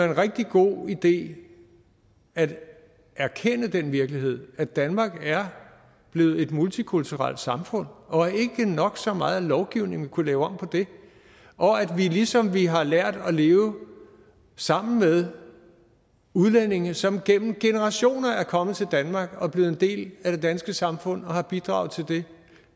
en rigtig god idé at erkende den virkelighed at danmark er blevet et multikulturelt samfund og at ikke nok så meget lovgivning vil kunne lave om på det ligesom vi har lært at leve sammen med udlændinge som gennem generationer er kommet til danmark og er blevet en del af det danske samfund og har bidraget til det